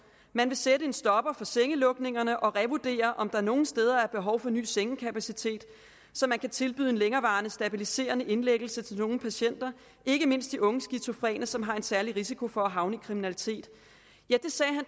man vil sætte en stopper for sengelukningerne og revurdere om der nogle steder er behov for ny sengekapacitet så man kan tilbyde en længerevarende stabiliserende indlæggelse til nogle patienter ikke mindst de unge skizofrene som har en særlig risiko for at havne i kriminalitet